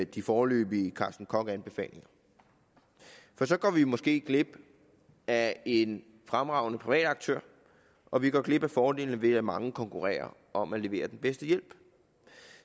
de foreløbige carsten koch anfalinger for så går vi måske glip af en fremragende privat aktør og vi går glip af fordelene ved at mange konkurrerer om at levere den bedste hjælp